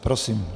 Prosím.